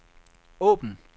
åbn